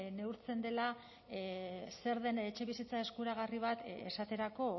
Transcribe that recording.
neurtzen dela zer den etxebizitza eskuragarri bat esaterako